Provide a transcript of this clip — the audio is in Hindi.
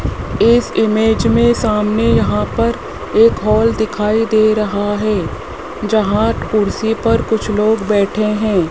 इस इमेज में सामने यहां पर एक हाल दिखाई दे रहा है जहां कुर्सी पर कुछ लोग बैठे हैं।